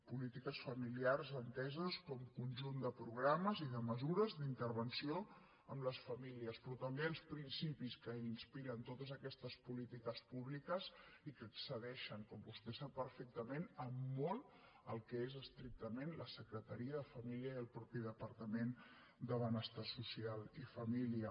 polítiques familiars enteses com a conjunt de progra·mes i de mesures d’intervenció amb les famílies però també els principis que inspiren totes aquestes políti·ques públiques i que excedeixen com vostè sap per·fectament en molt el que és estrictament la secreta·ria de família i el mateix departament de benestar social i família